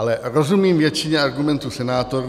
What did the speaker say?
Ale rozumím většině argumentů senátorů.